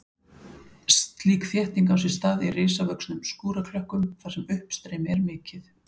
Slík þétting á sér stað í risavöxnum skúraklökkum þar sem uppstreymi er mikið.